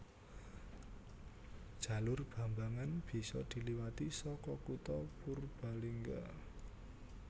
Jalur Bambangan bisa diliwati saka kutha Purbalingga